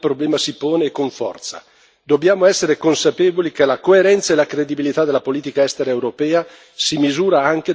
Dobbiamo essere consapevoli che la coerenza e la credibilità della politica estera europea si misurano anche da come affrontiamo questi problemi.